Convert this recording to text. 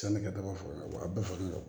Sanni ka taga foro la wa a bɛɛ fagalen don